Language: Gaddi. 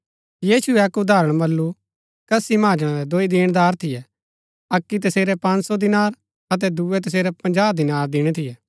यीशुऐ अक्क उदाहरण बल्लू कसी महाजणा रै दुई दीणदार थियै अक्की तसेरै पँज सौ दीनार अतै दुऐ तसेरै पजाँह दीनार दिणै थियै